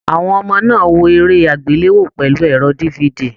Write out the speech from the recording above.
Àwọn ọmọ náà wò eré agbelewo pẹlu ẹrọ DVD.